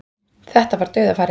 Þetta var dauðafæri